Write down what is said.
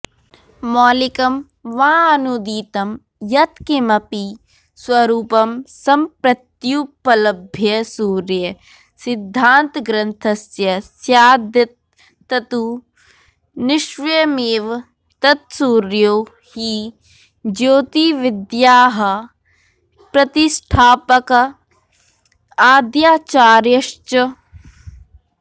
मौलिकं वाऽनूदितं यत्किमपि स्वरूपं सम्प्रत्युपलभ्यसूर्यसिद्धान्तग्रन्थस्य स्यादेत्ततु निश्वयमेव यत्सूर्यो हि ज्योतिविद्यायाः प्रतिष्ठापक आंद्याचार्यश्च